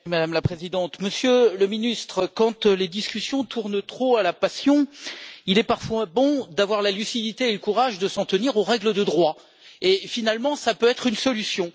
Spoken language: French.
Madame la Présidente, Monsieur le Ministre, quand les discussions tournent trop à la passion, il est parfois bon d'avoir la lucidité et le courage de s'en tenir aux règles de droit et, finalement, cela peut être une solution.